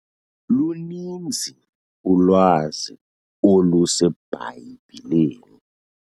Luninzi ulwazi oluseBhayibhileni.